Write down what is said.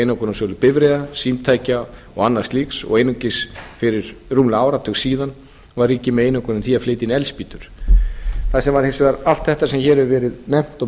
einokunarsölu bifreiða símtækja og annars slíks og einungis fyrir rúmlega áratug síðan var ríkið með einokun á því að flytja inn eldspýtur allt þetta sem hér hefur verið nefnt og mörg